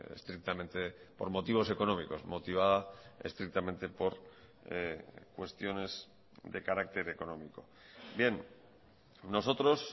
estrictamente por motivos económicos motivada estrictamente por cuestiones de carácter económico bien nosotros